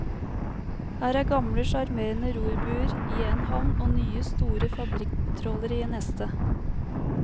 Her er gamle, sjarmerende rorbuer i en havn og nye, store fabrikktrålere i neste.